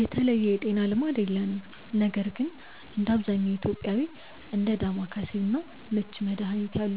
የተለየ የጤና ልማድ የለንም ነገር ግን እንደ አብዛኛው ኢትዮጵያዊ እንደ ዳማከሴ እና ምች መድሀኒት ያሉ